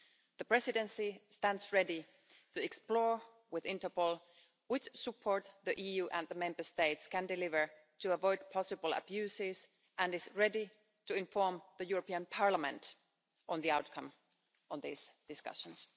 The Presidency stands ready to explore, with Interpol, what support the EU and the Member States can deliver to avoid possible abuses, and is ready to inform the European Parliament on the outcome of these discussions.